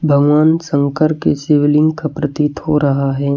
भगवान शंकर की शिवलिंग का प्रतीत हो रहा है।